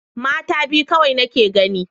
Mata biyu kawai nake gani.